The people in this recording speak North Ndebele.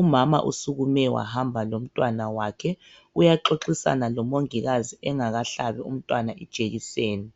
Umama usukume wahamba lomntwana wakhe uyaxoxisana lomongikazi engakahlabi umntwana ijekiseni.